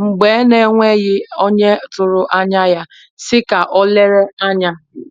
mgbe n'enweghi onye tụrụ anya ya, si ka o lere anya